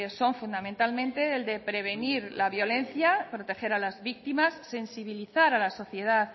son fundamentalmente del de prevenir la violencia proteger a las víctimas sensibilizar a la sociedad